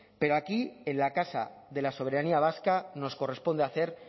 pero aquí en la casa de la soberanía vasca nos corresponde hacer